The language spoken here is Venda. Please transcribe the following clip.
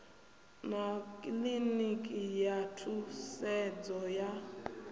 na kiḽiniki ya thusedzo ya